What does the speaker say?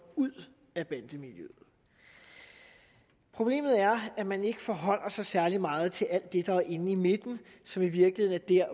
ud af bandemiljøet problemet er at man ikke forholder sig særlig meget til alt det der er inde i midten som i virkeligheden er